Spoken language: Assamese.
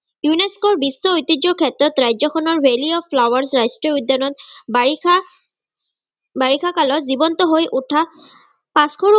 UNESCO ৰ বিশ্ব ঐতিয্যৰ ক্ষেত্ৰত ৰাজ্যখনৰ valley of flowers ৰাষ্ট্ৰীয় উদ্যানত বাৰিষা বাৰিষাকালত জীৱন্তহৈ উঠা পাঁচশৰো